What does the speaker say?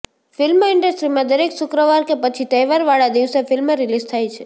film ઇન્ડસ્ટ્રીમાં દરેક શુક્રવાર કે પછી તહેવાર વાળા દિવસે ફિલ્મ રીલીઝ થાય છે